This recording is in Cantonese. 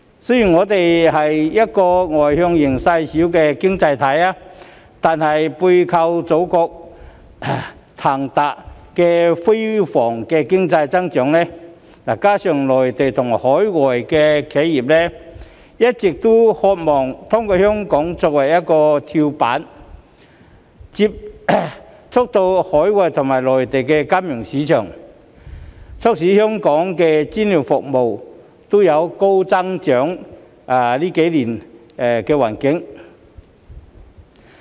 雖然我們是一個外向型細小的經濟體，但是背靠祖國騰飛的經濟增長，再加上內地和海外企業，一直渴望透過香港作為跳板，接觸到海外及內地金融市場，促使香港的專業服務在這幾年都能高速增長。